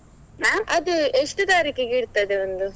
ಎಷ್ಟು ತಾರೀಕಿಗೆ ಇರ್ತದೆ ಒಂದು?